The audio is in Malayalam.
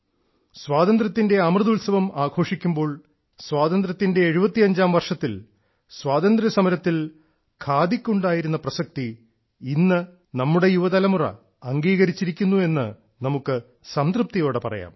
സ്വാതന്ത്ര്യത്തിന്റെ അമൃത ഉത്സവം ആഘോഷിക്കുമ്പോൾ ഇന്ന് സ്വാതന്ത്ര്യത്തിന്റെ 75ാം വർഷത്തിൽ സ്വാതന്ത്ര്യ സമരത്തിൽ ഖാദിക്ക് ഉണ്ടായിരുന്ന പ്രസക്തി ഇന്ന് നമ്മുടെ യുവതലമുറ അംഗീകരിച്ചിരിക്കുന്നുവെന്ന് നമുക്ക് സംതൃപ്തിയോടെ പറയാം